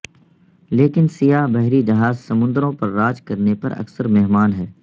لیکن سیاہ بحری جہاز سمندروں پر راج کرنے پر اکثر مہمان ہے